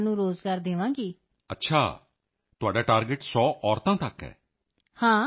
ਹੁਣ ਲੋਕ ਕਮਲ ਦੇ ਰੇਸ਼ਿਆਂ ਬਾਰੇ ਕਿੰਨਾ ਕੁ ਜਾਨਣ ਲੱਗ ਗਏ ਹਨ and know people are familiar with this lotus stem fibre